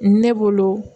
Ne bolo